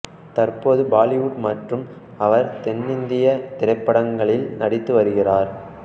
தற்பொழுது பாலிவுட் மற்றும் அவர் தென்னிந்திய திரைப்படங்களில் நடித்து வருகிறார்